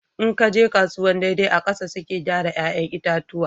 In ki ka je kasuwan daidai a ƙasa suke gyara 'ya'yan itatuwan